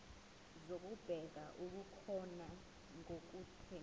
zokubheka okukhona nokungekho